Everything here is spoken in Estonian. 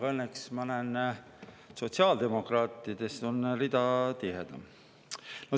Õnneks ma näen, et sotsiaaldemokraatide rida on tihedam.